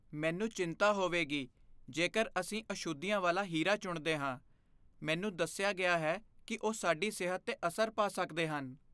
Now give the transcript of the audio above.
ਮੈਨੂੰ ਚਿੰਤਾ ਹੋਵੇਗੀ ਜੇਕਰ ਅਸੀਂ ਅਸ਼ੁੱਧੀਆਂ ਵਾਲਾ ਹੀਰਾ ਚੁਣਦੇ ਹਾਂ। ਮੈਨੂੰ ਦੱਸਿਆ ਗਿਆ ਹੈ ਕਿ ਉਹ ਸਾਡੀ ਸਿਹਤ 'ਤੇ ਅਸਰ ਪਾ ਸਕਦੇ ਹਨ।